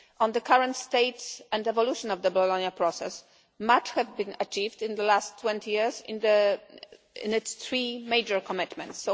On the current state and the evolution of the Bologna process, much has been achieved in the last 20 years in its three 3 major commitments.